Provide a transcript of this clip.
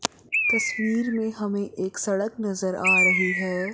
तस्वीर में हमें एक सड़क नजर आ रही हैं।